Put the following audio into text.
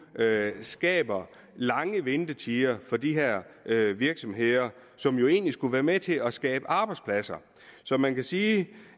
skaber lange ventetider for de her virksomheder som jo egentlig skulle være med til at skabe arbejdspladser så man kan sige